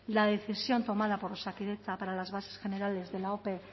la decisión tomada por osakidetza para las bases generales de la ope